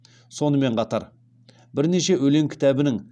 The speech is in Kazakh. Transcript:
сонымен қатар бірнеше өлең кітабының